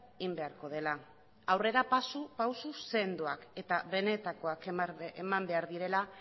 egin beharko dela aurrerapauso sendoak eta benetakoak eman behar direla